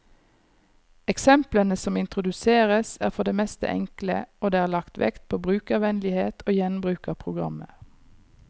Eksemplene som introduseres, er for det meste enkle, og det er lagt vekt på brukervennlighet og gjenbruk av programmer.